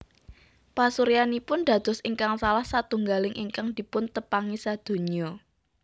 Pasuryanipun dados ingkang salah satunggaling ingkang dipuntepangi sadonya